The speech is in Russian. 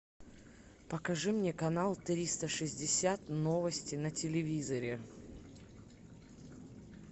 покажи мне канал триста шестьдесят новости на телевизоре